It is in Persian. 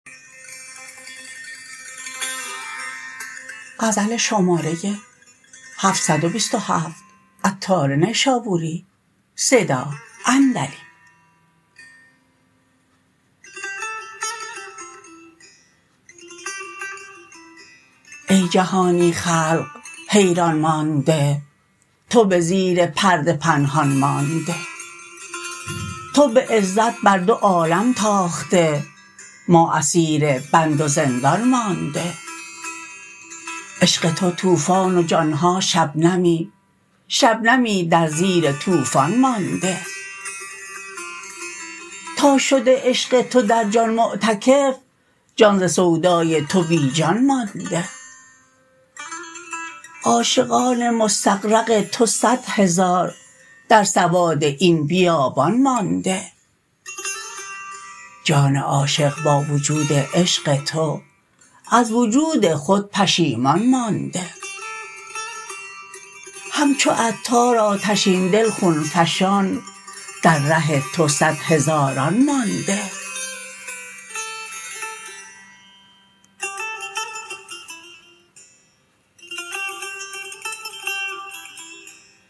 ای جهانی خلق حیران مانده تو به زیر پرده پنهان مانده تو به عزت بر دو عالم تاخته ما اسیر بند و زندان مانده عشق تو طوفان و جان ها شبنمی شبنمی در زیر طوفان مانده تا شده عشق تو در جان معتکف جان ز سودای تو بیجان مانده عاشقان مستغرق تو صد هزار در سواد این بیابان مانده جان عاشق با وجود عشق تو از وجود خود پشیمان مانده همچو عطار آتشین دل خون فشان در ره تو صد هزاران مانده